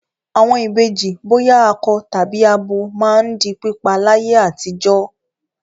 Àwọn ìbejì bóyá akọ tàbí abo máa ń di pípa láyé àtijọ́.